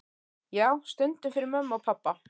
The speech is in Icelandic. Já, stundum fyrir mömmu og pabba.